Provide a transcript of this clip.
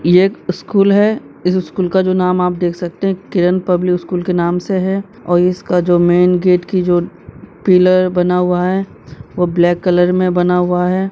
ये एक स्कूल है इस स्कूल का जो नाम आप देख सकते हैं किरण पब्लिक स्कूल के नाम से है और इसका जो मेन गेट की जो पिलर बना हुआ है वो ब्लैक कलर में बना हुआ है।